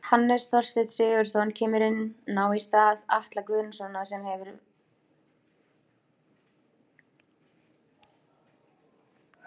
Hannes Þorsteinn Sigurðsson kemur inná í stað Atla Guðnasonar sem hefur leikið virkilega vel.